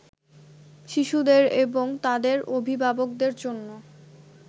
শিশুদের এবং তাদের অভিভাবকদের জন্য